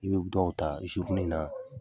I bɛ dɔw ta i se ko ni na